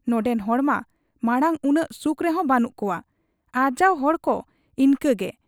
ᱱᱚᱱᱰᱮᱱ ᱦᱚᱲᱢᱟ ᱢᱟᱬᱟᱝ ᱩᱱᱟᱹᱜ ᱥᱩᱠ ᱨᱮᱦᱚᱸ ᱵᱟᱹᱱᱩᱜ ᱠᱚᱣᱟ ᱾ ᱟᱨᱡᱟᱣ ᱦᱚᱲᱠᱚ ᱤᱱᱠᱟᱹᱜᱮ ᱾